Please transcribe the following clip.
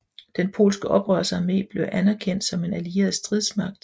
Den polske oprørsarmé blev anerkendt som en allieret stridsmagt